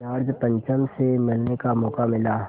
George पंचम से मिलने का मौक़ा मिला